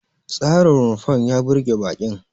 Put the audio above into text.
Tsarin rumfar ya burge baƙin.